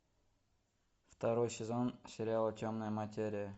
второй сезон сериала темная материя